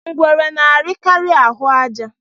Ngwere na-arikari ahụ àjà